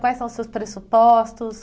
Quais são os seus pressupostos?